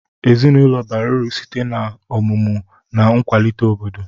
Ezinụlọ bara uru sitee na omụmu na nkwalite obodo